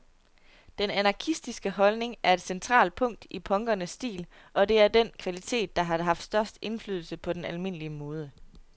Den anarkistiske holdning er et centralt punkt i punkernes stil, og det er den kvalitet, der har haft størst indflydelse på den almindelige mode.